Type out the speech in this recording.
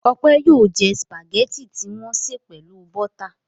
Ọpẹ́ yóò jẹ sìpàgẹ́tì tí wọ́n sè pelu bọ́tà.